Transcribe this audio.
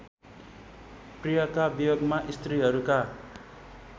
प्रियका वियोगमा स्त्रीहरूका